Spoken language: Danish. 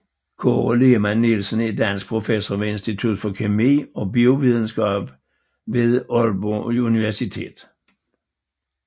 Kåre Lehmann Nielsen er dansk professor ved Institut for Kemi og Biovidenskab ved Aalborg Universitet